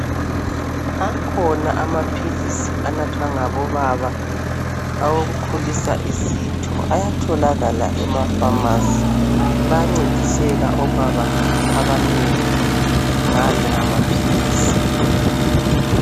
Akhona amaphilisi anathwa ngabobaba awokukhulisa isitho ayatholakala emafamasi. Bayancediseka obaba abanengi ngala amaphilisi